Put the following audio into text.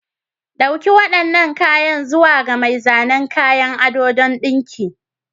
Dauki waɗannan kayan zuwa ga mai zanen kayan ado don dinka.